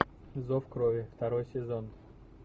зов крови второй сезон